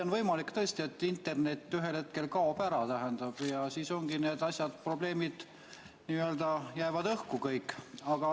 On võimalik tõesti, et internet ühel hetkel kaob ära ja siis need probleemid jäävad õhku kõik.